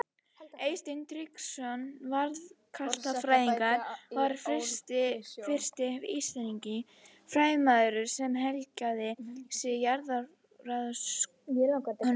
Eysteinn Tryggvason jarðskjálftafræðingur var fyrsti íslenski fræðimaðurinn sem helgaði sig jarðskjálftarannsóknum.